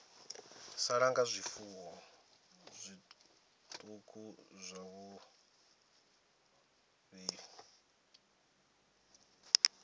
sala nga zwifuwo zwiṱuku zwavhuḓi